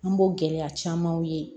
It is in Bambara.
An b'o gɛlɛya camanw ye